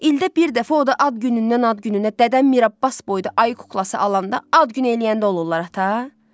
İldə bir dəfə o da ad günündən ad gününə Dədə Mirabbaz boyda ayı kuklası alanda, ad gün eləyəndə olurlar ata?